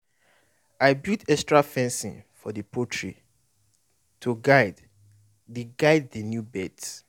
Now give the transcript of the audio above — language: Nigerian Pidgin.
i build extra fencing for the poultry to guide the guide the new birds